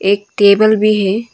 एक टेबल भी है।